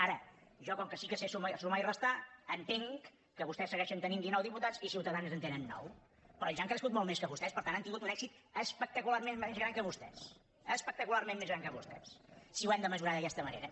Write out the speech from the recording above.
ara jo com que sí que sé sumar i restar entenc que vostès segueixen tenint dinou diputats i ciutadans en tenen nou però ells han crescut molt més que vostès per tant han tingut un èxit espectacularment més gran que vostès espectacularment més gran que vostès si ho hem de mesurar d’aquesta manera